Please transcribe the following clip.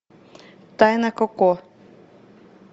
тайна коко